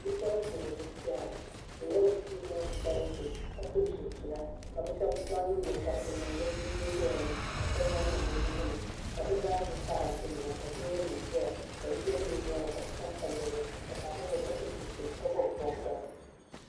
Bɛ puɣinsi n zi piɛri bɛ nyɛla bɛ puɣin balisi ka so chin China ka bɛb zaŋ ningokorisi n niŋ bɛ nyin goyani ka shɛb zan niŋ bɛ nuhuni ka bɛ zaazi paratɛnima ka loori nim zɛya ka yiya bɛ binyaanŋa ka bɛ chani pallizuɣu ka paɣa so zɛya ka so chinchini ka bobi bobiga